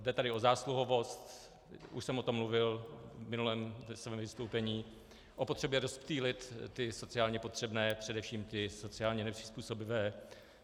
Jde tady o zásluhovost, už jsem o tom mluvil v minulém svém vystoupení, o potřebě rozptýlit ty sociálně potřebné, především ty sociálně nepřizpůsobivé.